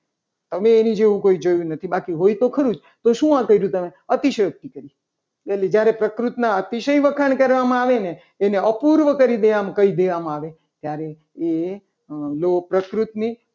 તમે એની જેવું કોઈ જોયું નથી. બાકી હોય તો ખરું જ તો શું હોય અતિશયોક્તિ હોય તો જ્યારે પ્રકૃતિના અતિશય વખાણ કરવામાં આવે. એને અપૂર્વ કરી દેવામાં કહી દેવામાં આવે ત્યારે એ લોક પ્રકૃતિ